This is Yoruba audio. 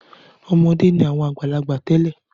Ọmọdé ni àwọn àgbàlagbà tẹ́lẹ̀.